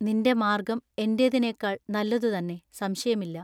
നിന്റെ മാർഗ്ഗം എന്റേതിനേക്കാൾ നല്ലതു തന്നെ സംശയമില്ല.